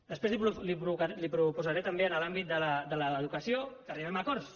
després li proposaré també en l’àmbit de l’educació que arribem a acords